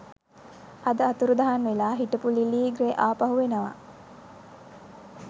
අද අතුරුදහන් වෙලා හිටපු ලිලී ග්‍රේ ආපහු එනවා